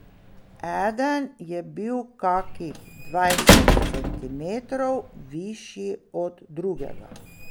Eden je bil kakih dvajset centimetrov višji od drugega.